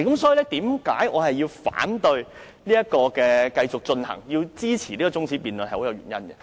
所以，這是我反對繼續進行辯論，支持這項中止待續議案的原因。